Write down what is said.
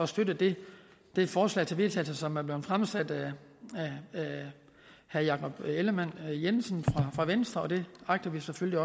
støtte det det forslag til vedtagelse som er blevet fremsat af herre jakob ellemann jensen fra venstre og det agter vi selvfølgelig